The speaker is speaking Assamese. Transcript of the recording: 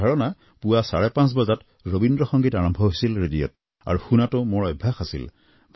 মোৰ ধাৰণা পুৱা চাৰে পাঁচ বজাত ৰবীন্দ্ৰ সংগীত আৰম্ভ হৈছিল ৰেডিঅত আৰু শুনাটো মোৰ অভ্যাস আছিল